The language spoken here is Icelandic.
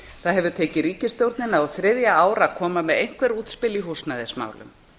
það hefur tekið ríkisstjórnina á þriðja ár að koma með einhver útspil í húsnæðismálum